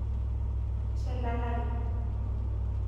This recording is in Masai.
Telalai.